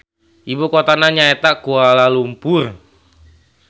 Ibu kotana nyaeta Kualalumpur.